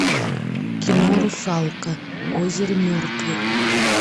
кино русалка озеро мертвых